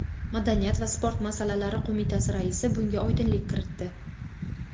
madaniyat va sport masalalari qo‘mitasi raisi bunga oydinlik kiritdi.